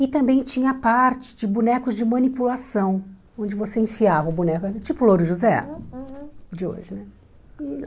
E também tinha parte de bonecos de manipulação, onde você enfiava o boneco, tipo o Louro José aham de hoje.